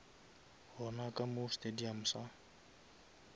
gona ka mo stadium sa